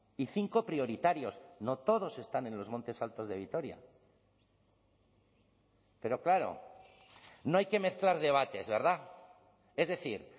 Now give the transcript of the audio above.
y cinco prioritarios no todos están en los montes altos de vitoria pero claro no hay que mezclar debates verdad es decir